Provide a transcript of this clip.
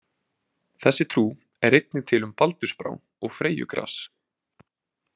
Þessi trú er einnig til um baldursbrá og freyjugras.